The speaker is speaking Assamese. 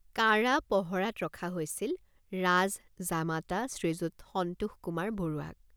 কাঢ়া পহৰাত ৰখা হৈছিল ৰাজ জামাতা শ্ৰীযুত সন্তোষকুমাৰ বৰুৱাক।